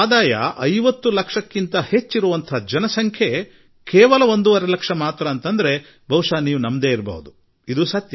ಅದೆಂದರೆ 125 ಕೋಟಿ ಜನಸಂಖ್ಯೆಯ ಈ ದೇಶದಲ್ಲಿ ಕೇವಲ ಒಂದೂವರೆ ಲಕ್ಷ ಜನರಷ್ಟೆ 50 ಲಕ್ಷ ರೂಪಾಯಿಗಳಿಗಿಂತ ಹೆಚ್ಚಿನ ತೆರಿಗೆ ವ್ಯಾಪ್ತಿಗೆ ಬರುವವರಾಗಿದ್ದಾರೆ